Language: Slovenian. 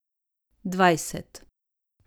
Dvajset.